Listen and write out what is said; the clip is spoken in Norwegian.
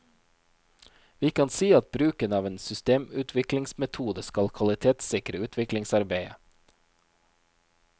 Vi kan si at bruken av en systemutviklingsmetode skal kvalitetssikre utviklingsarbeidet.